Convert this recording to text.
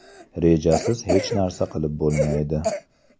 Rejasiz hech narsa qilib bo‘lmaydi.